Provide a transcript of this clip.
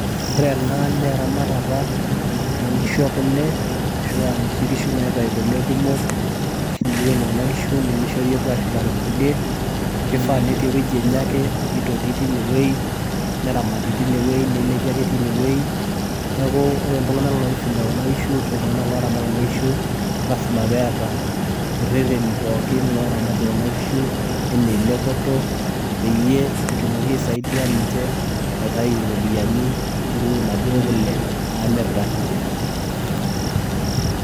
ore ene naa eramatata oonkishu ekule, naa ore kuna kishu nimishori epuo ashulare ingulie eweji enye ake ninche etii metaramati oopeny, ore itung'anak oifuga kuna kishu naa ilasima pee eta irereni pooki oramatie kuna kishu aa elepoto pee etumoki aisaidia egira amir kule enye.